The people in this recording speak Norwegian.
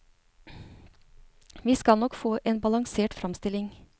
Vi skal nok få en balansert fremstilling.